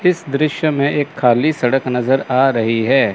इस दृश्य में एक खाली सड़क नजर आ रही है।